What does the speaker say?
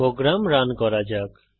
programme run করা যাক